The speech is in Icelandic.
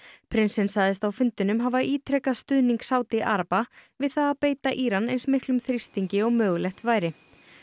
prinsinn sagðist á fundinum hafa ítrekað stuðning Sádi araba við það að beita Íran eins miklum þrýstingi og mögulegt væri